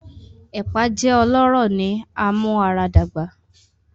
Epa jẹ ọlọrọ ni amuaradagba.